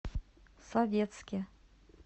советске